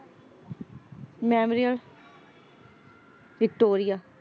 Memorial Victoria.